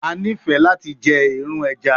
A nifẹ lati jẹ eerun ẹja